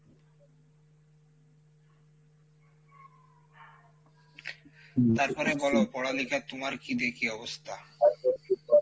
তারপরে বলো পড়ালিখা তুমার কী দেখি অবস্থা?